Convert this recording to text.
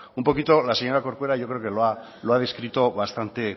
un poquito la señora corcuera yo creo que lo ha descrito